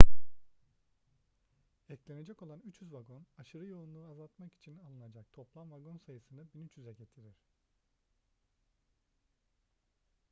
eklenecek olan 300 vagon aşırı yoğunluğu azaltmak için alınacak toplam vagon sayısını 1300'e getirir